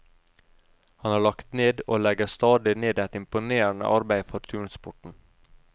Han har lagt ned og legger stadig ned et imponerende arbeid for turnsporten.